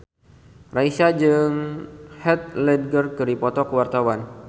Raisa jeung Heath Ledger keur dipoto ku wartawan